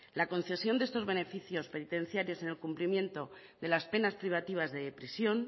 la concesión de estos beneficios penitenciarios en el cumplimiento de las penas privativas de prisión